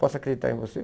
Posso acreditar em você?